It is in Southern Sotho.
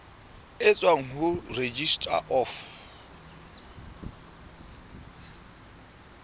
e tswang ho registrar of